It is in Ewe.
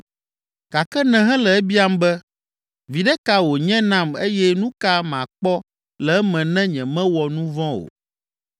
gake nèhele ebiam be, ‘Viɖe ka wònye nam eye nu ka makpɔ le eme ne nyemewɔ nu vɔ̃ o?’